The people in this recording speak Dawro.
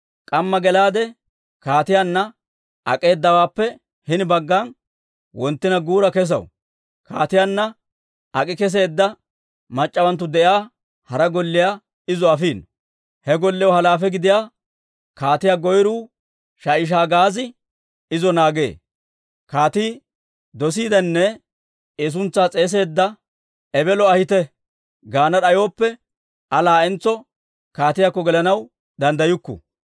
K'amma gelaade, kaatiyaanna ak'eedawaappe hini baggan, wonttina guura kesaw. Kaatiyaanna ak'i keseedda mac'c'awanttu de'iyaa hara golliyaa izo afiino. He golliyaw halaafe gidiyaa kaatiyaa goyruu Sha'ishagaazi izo naagee. Kaatii dosiidenne I suntsaa s'eeseedda, «Ebelo ahite» gaana d'ayooppe, Aa laa'entso kaatiyaakko gelanaw danddayukku.